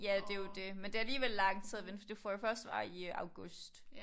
Ja det jo det men det alligevel lang tid at vente for du får jo først svar i august